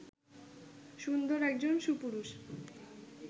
সুন্দর একজন সুপুরুষ